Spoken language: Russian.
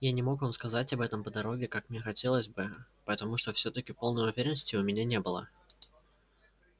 я не мог вам сказать об этом по дороге как мне хотелось бы потому что всё-таки полной уверенности у меня не было